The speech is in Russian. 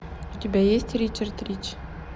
у тебя есть ричард рич